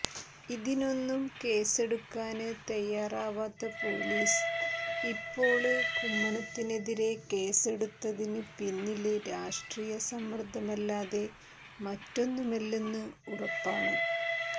ഇതിനൊന്നും കേസെടുക്കാന് തയ്യാറാവാത്ത പോലീസ് ഇപ്പോള് കുമ്മനത്തിനെതിരെ കേസെടുത്തതിന് പിന്നില് രാഷ്ട്രീയ സമ്മര്ദ്ധമല്ലാതെ മറ്റൊന്നുമല്ലെന്ന് ഉറപ്പാണ്